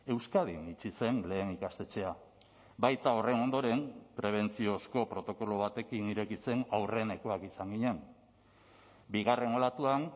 euskadin itxi zen lehen ikastetxea baita horren ondoren prebentziozko protokolo batekin irekitzen aurrenekoak izan ginen bigarren olatuan